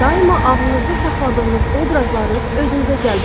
Daima ağlınızda saxladığınız obrazları özünüzə cəlb edirsiz.